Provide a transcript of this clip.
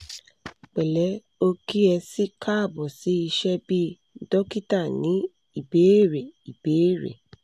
pẹ̀lẹ́ o kí ẹ si káàbọ̀ sí iṣẹ́ 'bí dókítà ní ìbéèrè' ìbéèrè'